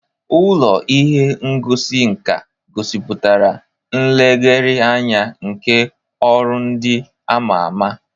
Ụlọ ihe ngosi nka gosipụtara nlegharị anya nke ọrụ ndị a ma ama.